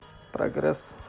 прогресс